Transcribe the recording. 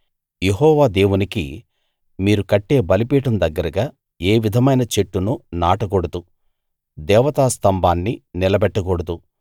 యెహోవా దేవునికి మీరు కట్టే బలిపీఠం దగ్గరగా ఏ విధమైన చెట్టును నాటకూడదు దేవతా స్తంభాన్నీ నిలబెట్టకూడదు